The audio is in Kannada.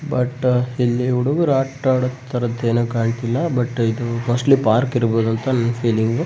ಬಟ್ ಇಲ್ಲಿ ಹುಡುಗುರು ಆಟ ಆಡುದ್ದ್ ತರದೇನು ಕಾಣ್ತಿಲ್ಲ ಬಟ್ ಇದು ಮೋಸ್ಟ್ಲಿ ಪಾರ್ಕ್ ಇರ್ಬಹುದಂತ ನನ್ನ್ ಫೀಲಿಂಗ್ .